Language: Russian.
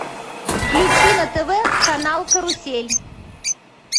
включи на тв канал карусель